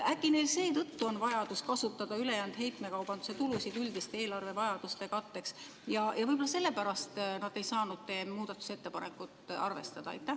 Äkki neil seetõttu on vajadus kasutada ülejäänud heitmekaubanduse tulusid üldiste eelarvevajaduste katteks ja võib-olla sellepärast nad ei saanud teie muudatusettepanekut arvestada?